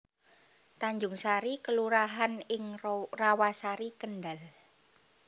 Tanjungsari kelurahan ing Rawasari Kendhal